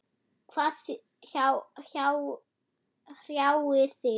Hvað hrjáir þig?